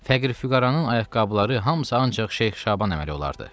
Fəqir füqəranın ayaqqabıları hamısı ancaq Şeyx Şaban əməli olardı.